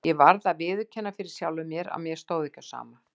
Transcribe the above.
Ég varð að viðurkenna fyrir sjálfum mér að mér stóð ekki á sama.